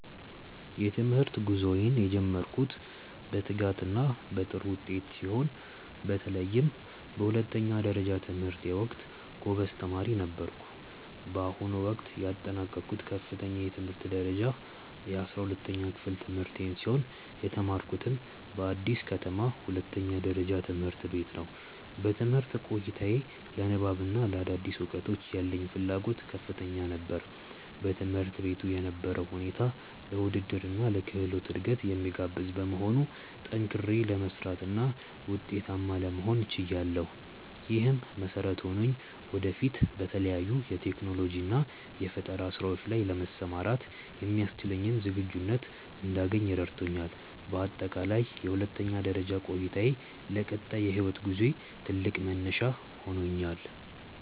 የትምህርት ጉዞዬን የጀመርኩት በትጋትና በጥሩ ውጤት ሲሆን፣ በተለይም በሁለተኛ ደረጃ ትምህርቴ ወቅት ጎበዝ ተማሪ ነበርኩ። በአሁኑ ወቅት ያጠናቀቅኩት ከፍተኛ የትምህርት ደረጃ የ12ኛ ክፍል ትምህርቴን ሲሆን፣ የተማርኩትም በአዲስ ከተማ ሁለተኛ ደረጃ ትምህርት ቤት ነው። በትምህርት ቆይታዬ ለንባብና ለአዳዲስ እውቀቶች ያለኝ ፍላጎት ከፍተኛ ነበር። በትምህርት ቤቱ የነበረው ሁኔታ ለውድድርና ለክህሎት እድገት የሚጋብዝ በመሆኑ፣ ጠንክሬ ለመስራትና ውጤታማ ለመሆን ችያለሁ። ይህም መሰረት ሆኖኝ ወደፊት በተለያዩ የቴክኖሎጂና የፈጠራ ስራዎች ላይ ለመሰማራት የሚያስችለኝን ዝግጁነት እንዳገኝ ረድቶኛል። በአጠቃላይ የሁለተኛ ደረጃ ቆይታዬ ለቀጣይ የህይወት ጉዞዬ ትልቅ መነሻ ሆኖኛል።